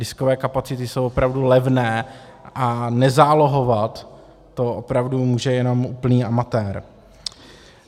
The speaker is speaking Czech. Diskové kapacity jsou opravdu levné a nezálohovat, to opravdu může jenom úplný amatér.